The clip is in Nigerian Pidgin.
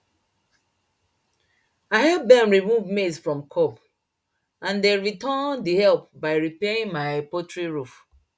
i help dem remove maize from cob and dem return the help by repairing my poultry roof